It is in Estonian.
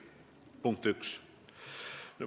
See oli punkt üks.